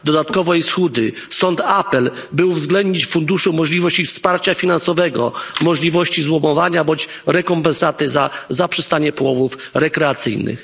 Dodatkowo jest chudy, stąd apel, by uwzględnić w funduszu możliwości wsparcia finansowego, możliwości złomowania, bądź rekompensaty za zaprzestanie połowów rekreacyjnych.